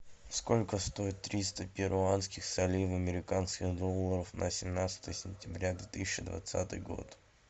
сколько стоит триста перуанских солей в американских долларах на семнадцатое сентября две тысячи двадцатый год